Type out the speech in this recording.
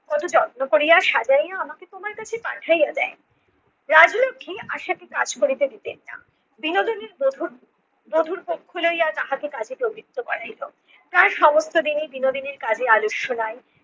কত যত্ন করিয়া সাজাইয়া আমাকে তোমার কাছে পাঠাইয়া দেয়। রাজলক্ষী আশাকে কাজ করিতে দিতেন না। বিনোদিনী বধূর বধূর পক্ষ লইয়া তাহাকে তাহাকে কাজে প্রবৃত্ত করাইত। প্রায় সমস্ত দিনই বিনোদিনীর কাজে আলস্য নাই।